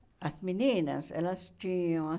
As meninas? Elas tinham